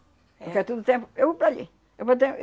Porque a todo tempo eu vou para ali. Eu vou eu